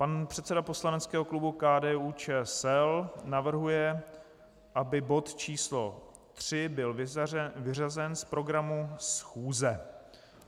Pan předseda poslaneckého klubu KDU-ČSL navrhuje, aby bod číslo 3 byl vyřazen z programu schůze.